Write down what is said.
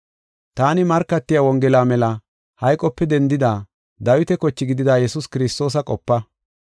Taani markatiya Wongela mela hayqope dendida, Dawita koche gidida Yesuus Kiristoosa qopa.